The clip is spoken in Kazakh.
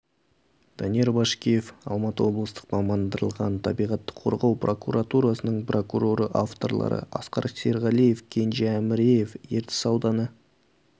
данияр башкеев алматы облыстық мамандырылған табиғатты қорғау прокуратурасының прокуроры авторлары асқар серғалиев кенже әміреев ертіс ауданы